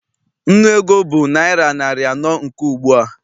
Nnu ego bụ naịra narị anọ nke ugbua.